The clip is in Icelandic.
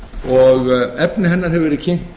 og efni hennar hefur verið kynnt